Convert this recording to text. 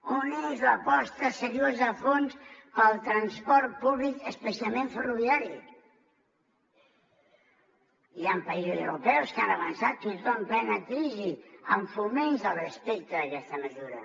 on és l’aposta seriosa a fons pel transport públic especialment ferroviari hi han països europeus que han avançat fins i tot en plena crisi amb foment al respecte d’aquesta mesura